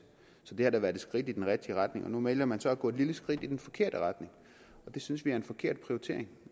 så det har da været et skridt i den rigtige retning nu vælger man så at gå et lille skridt i den forkerte retning og det synes vi er en forkert prioritering